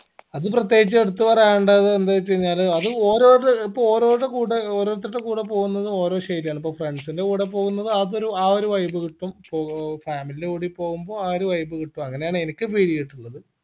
അത് പ്രത്യേകിച്ച് എടുത്ത് പറയേണ്ടത് എന്ത് വെച്ച് കൈനാൽ അത് ഓരോരോ ഇപ്പൊ ഓരോരുടെ കൂടെ ഇപ്പൊ ഓരോരുത്തരുടെ കൂടെ പോവുന്നത് ഓരോ ശൈലിയാണ് ഇപ്പൊ friends ൻറെ കൂടെ പോവുന്നത് അതൊരു ആ ഒരു vibe കിട്ടും ഇപ്പൊ family ൻറെ കൂടി പോവുമ്പോ ആ ഒരു vibe കിട്ടും അങ്ങനെയാണ് എനിക്ക് feel എയ്തിട്ടുള്ളത്